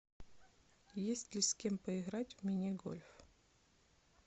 есть ли с кем поиграть в мини гольф